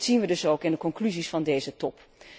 Dat zien wij dus ook in de conclusies van deze top.